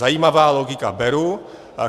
Zajímavá logika, beru.